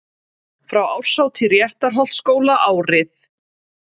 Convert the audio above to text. Frá árshátíð Réttarholtsskóla árið